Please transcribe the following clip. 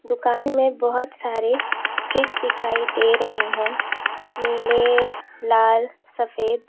दुकान में बहुत सारे फ्रिज दिखाई दे रहे हैं नीले लाल सफेद।